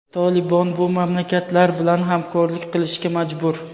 "Tolibon" bu mamlakatlar bilan hamkorlik qilishga majbur.